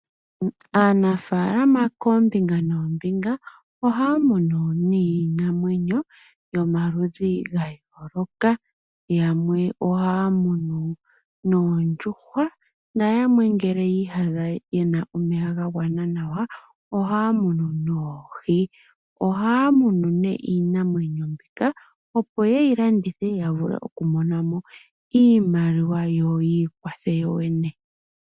Aanafaalama koombinga noombinga ohaya munu niinamwenyo yomaludhi ga yooloka. Yamwe ohaya munu noondjuhwa nayamwe ngele yi iyadha ye na omeya ga gwana nawa ohaya munu noohi. Ohaya munu iinamwenyo mbika opo ye yi landithe ya vule okumona mo iimaliwa yo yi ikwathe yo yene.